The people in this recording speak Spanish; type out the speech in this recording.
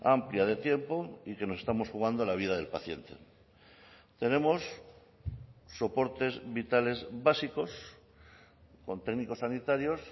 amplia de tiempo y que nos estamos jugando la vida del paciente tenemos soportes vitales básicos con técnicos sanitarios